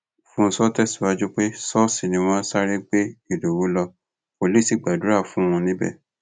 fúnshò tẹsíwájú pé ṣọọṣì ni wọn sáré gbé ìdòwú lọ wòlíì sì gbàdúrà fún un níbẹ